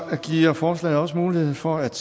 giver forslaget også mulighed for at